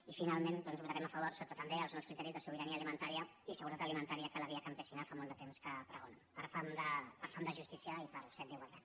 i finalment doncs votarem a favor sota també els nous criteris de sobirania alimentària i seguretat ali·mentària que la vía campesina fa molt de temps que pregona per fam de justícia i per set d’igualtat